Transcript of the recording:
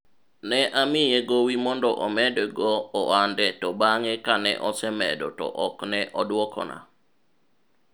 ne amiye gowi mondo omed go ohande to bang'e kane osemedo to ok ne odwokona